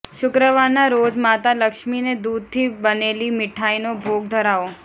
શુક્રવારના રોજ માતા લક્ષ્મીને દૂધથી બનેલી મીઠાઈનો ભોગ ધરાવો